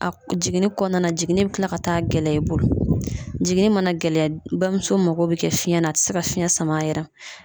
A jiginni kɔnɔna na, jiginni bɛ kila ka taa gɛlɛya i bolo, jiginni mana gɛlɛya bamuso mago bɛ kɛ fiyɛn na , a tɛ se ka fiɲɛ sama a yɛrɛ la.